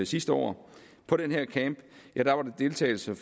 sidste år på den her camp var der deltagelse